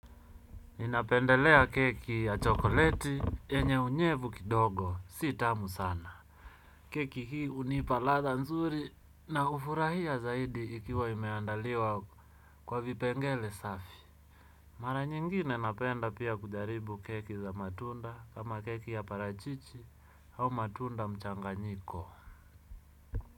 Ninapendelea keki ya chokoleti yenye unyevu kidogo si tamu sana. Keki hii hunipa ladha nzuri na hufurahia zaidi ikiwa imeandaliwa kwa vipengele safi. Mara nyingine napenda pia kujaribu keki za matunda kama keki ya parachichi au matunda mchanganyiko.